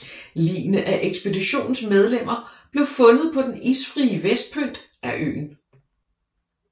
Ligene af ekspeditionens medlemmer blev fundet på den isfrie vestpynt af øen